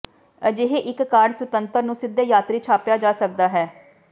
ਅਜਿਹੇ ਇੱਕ ਕਾਰਡ ਸੁਤੰਤਰ ਨੂੰ ਸਿੱਧੇ ਯਾਤਰੀ ਛਾਪਿਆ ਜਾ ਸਕਦਾ ਹੈ